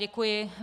Děkuji.